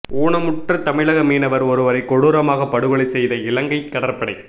ஊனமுற்ற தமிழக மீனவர் ஒருவரை கொடூரமாக படுகொலை செய்த இலங்கை கடற்படை